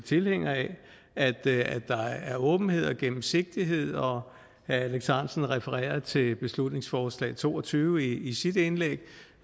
tilhængere af at der er åbenhed og gennemsigtighed herre alex ahrendtsen refererede til beslutningsforslag b to og tyve i i sit indlæg